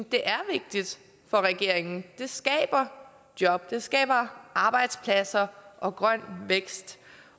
det er vigtigt for regeringen det skaber job det skaber arbejdspladser og grøn vækst